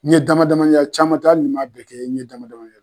N ye dama dama ye, caman tɛ hali ni n ma bɛɛ kɛ, n ye dama dama ye.